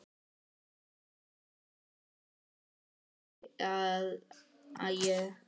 Flott svar, hugsa ég.